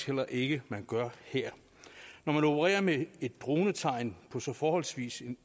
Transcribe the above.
heller ikke man gør her når man opererer med et dronetegn på en så forholdsvis